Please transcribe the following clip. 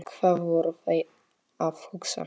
Hvað voru þeir að hugsa?